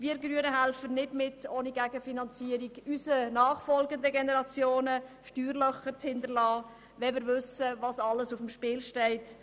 Wir Grünen helfen nicht ohne Gegenfinanzierung und wollen nicht unseren Nachfolgern Steuerlöcher hinterlassen, wenn wir wissen, was alles auf dem Spiel steht.